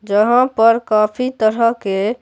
जहां पर काफी तरह के--